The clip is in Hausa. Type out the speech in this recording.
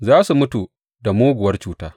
Za su mutu da muguwar cuta.